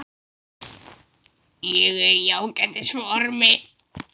Ég er í ágætis formi.